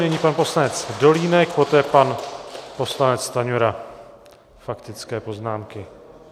Nyní pan poslanec Dolínek, poté pan poslanec Stanjura, faktické poznámky.